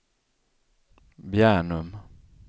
Bjärnum